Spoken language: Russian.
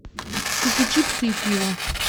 купи чипсы и пиво